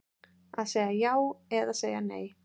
Að segja já eða segja nei